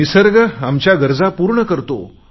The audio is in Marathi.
निसर्ग आमच्या गरजा पूर्ण करतो